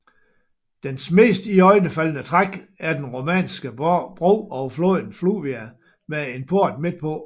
Dens mest iøjnefaldende træk er den romanske bro over floden Fluvià med en port midtpå